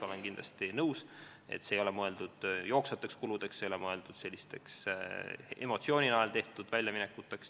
Olen kindlasti nõus, et see ei ole mõeldud jooksvateks kuludeks, see ei ole mõeldud emotsiooni najal tehtud väljaminekuteks.